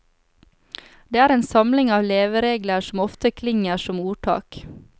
Det er en samling av leveregler som ofte klinger som ordtak.